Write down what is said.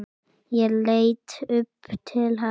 Ég leit upp til hans.